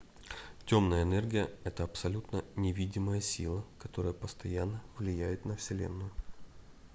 темная энергия это абсолютно невидимая сила которая постоянно влияет на вселенную